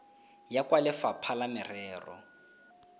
ya kwa lefapha la merero